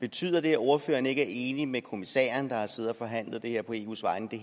betyder det at ordføreren ikke er enig med kommissæren der har siddet og forhandlet det her på eus vegne i